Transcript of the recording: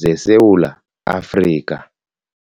zeSewula Afrika.